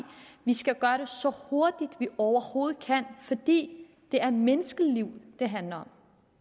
vi skal gøre det så hurtigt vi overhovedet kan fordi det er menneskeliv det handler